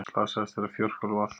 Slasaðist þegar fjórhjól valt